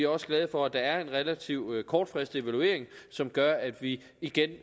også glade for at der er en relativt kortfristet evaluering som gør at vi igen